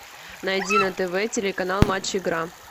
найди на тв телеканал матч игра